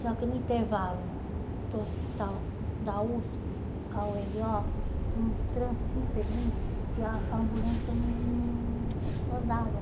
Só que no intervalo do hospital da USP ao Heliópolis, um trânsito infeliz que a ambulância não an andava.